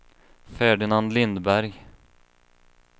Ferdinand Lindberg